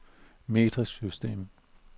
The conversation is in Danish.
metrisk system